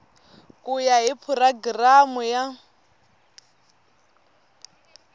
ku ya hi programu ya